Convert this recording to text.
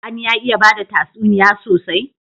Sani ya iya bada tatsuniya sosai?